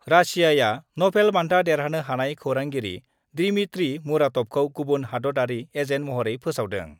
रासियाआ नभेल बान्था देरहानो हानाय खौरांगिरि दिमित्री मुराटभखौ गुबुन हादतयारि एजेन्ट महरै फोसावदों